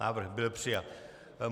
Návrh byl přijat.